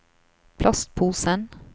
plastposen